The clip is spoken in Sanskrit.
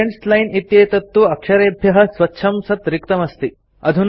स्टुडेन्ट्स् लाइन् इत्येतत् तु अक्षरेभ्यः स्वच्छं सत् रिक्तम् अस्ति